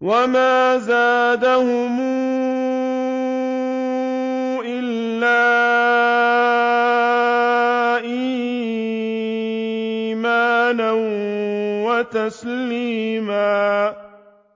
وَمَا زَادَهُمْ إِلَّا إِيمَانًا وَتَسْلِيمًا